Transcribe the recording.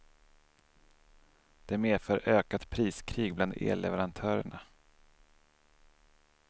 Det medför ökat priskrig bland elleverantörerna.